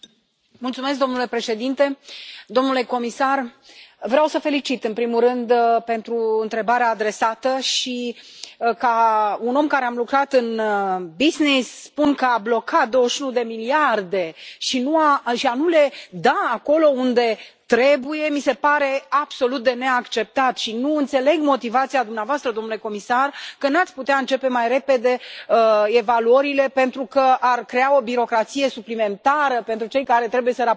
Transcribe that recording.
Domnule președinte, domnule comisar, vreau să o felicit pe colega mea, în primul rând, pentru întrebarea adresată și, ca un om care a lucrat în business, spun că a bloca 21 de miliarde și a nu le da acolo unde trebuie, mi se pare absolut de neacceptat și nu înțeleg motivația dumneavoastră, domnule comisar, potrivit căreia n ați putea începe mai repede evaluările, pentru că ar crea o birocrație suplimentară pentru cei care trebuie să raporteze.